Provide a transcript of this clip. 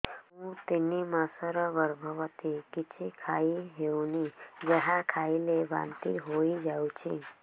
ମୁଁ ତିନି ମାସର ଗର୍ଭବତୀ କିଛି ଖାଇ ହେଉନି ଯାହା ଖାଇଲେ ବାନ୍ତି ହୋଇଯାଉଛି